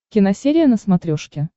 киносерия на смотрешке